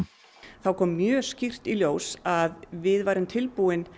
þá kom mjög skýrt í ljós að við værum tilbúin